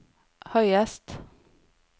høyest